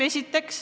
Seda esiteks.